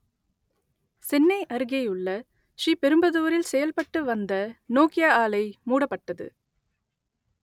சென்னை அருகேயுள்ள ஸ்ரீபெரும்புதூரில் செயல்பட்டு வந்த நோக்கியா ஆலை மூடப்பட்டது